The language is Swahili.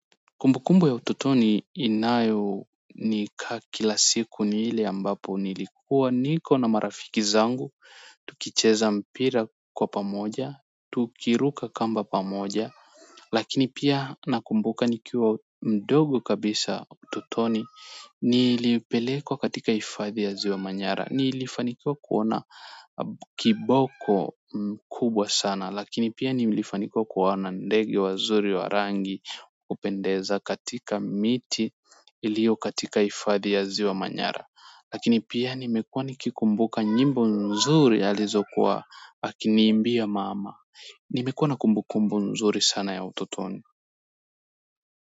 Kumbukumbu ya ututoni inayonika kila siku ni ile ambapo nilikuwa niko na marafiki zangu tukicheza mpira kwa pamoja, tukiruka kamba pamoja lakini pia nakumbuka nikiwa mdogo kabisa ututoni nilipelekwa katika hifadhi ya ziwa manyara. Nilifanikiwa kuona kiboko kubwa sana lakini pia nilifanikwa kuwaona ndege wa mzuri wa rangi wapendeza katika miti ilio katika hifadhi ya ziwa manyara lakini pia nimekuwa nikikumbuka nyimbo nzuri alizokuwa akiniimbia mama nimekuwa na kumbukumbu nzuri sana ya utotoni.